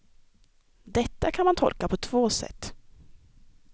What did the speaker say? Detta kan man tolka på två sätt.